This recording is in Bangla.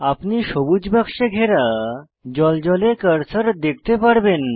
আপনি সবুজ বাক্সে ঘেরা জ্বলজ্বলে কার্সার দেখতে পারবেন